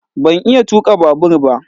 Ban iya tuka babur ba